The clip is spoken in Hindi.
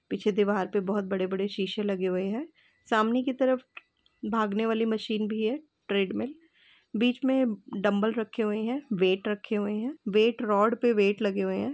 पीछे दीवार पे पर बहुत बड़े-बड़े शीशे लगे हुए हैं। सामने की तरफ भागने वाली मशीन भी है ट्रेडमिल बीच में डम्बल रखे हुए हैं वेट रखे हुए हैं वेट रोड पर वेट लगे हुए हैं।